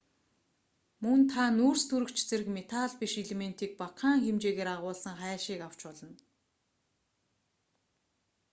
мөн та нүүрстөрөгч зэрэг металл биш элементийг багахан хэмжээгээр агуулсан хайлшийг авч болно